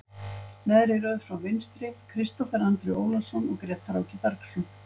Neðri röð frá vinstri, Kristófer Andri Ólason og Grétar Áki Bergsson.